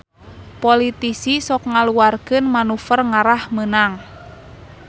Politisi sok ngaluarkeun manuver ngarah meunang